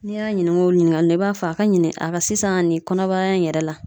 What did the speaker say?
N'i y'a ɲininka o ɲininkali la, i b'a fɔ a ka ɲini a ka sisan nin kɔnɔbara in yɛrɛ la